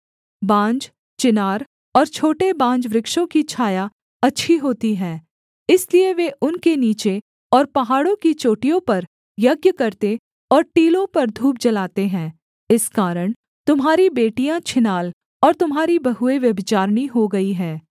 बांज चिनार और छोटे बांजवृक्षों की छाया अच्छी होती है इसलिए वे उनके नीचे और पहाड़ों की चोटियों पर यज्ञ करते और टीलों पर धूप जलाते हैं इस कारण तुम्हारी बेटियाँ छिनाल और तुम्हारी बहुएँ व्यभिचारिणी हो गई हैं